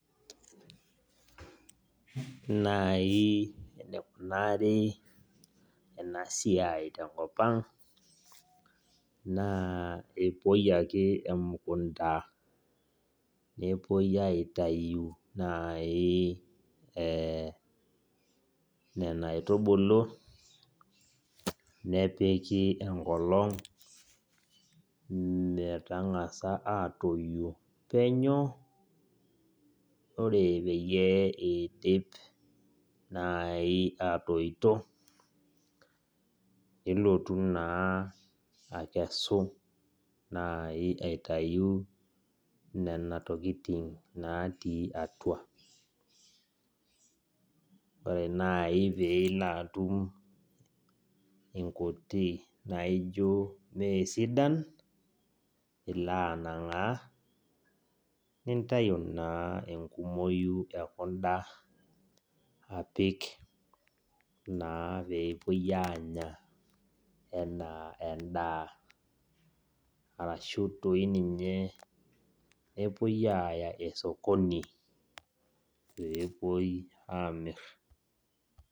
Najii enaikunari ena siai tenkop ang naa kepuoi ake emukunta nepuoi aitayu nena aitubulu nepiki enkolong ore pee eidip aatoito nilotu naaji akesu naai aitayu nena. Tokitin naati atua ore naaji peilo atum inkuti naajio meesidan nintayu naa enkumoi ekunda peepuoi aapik endaa ashu toi ninye aaya sokoni pepuoi aamir.